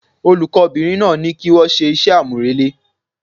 Olùkó bìnrin náà ní kí wón se ise àmúrelé